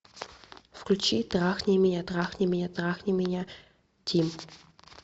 включи трахни меня трахни меня трахни меня тим